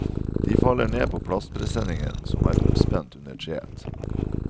De faller ned på plastpresseningen som er oppspent under treet.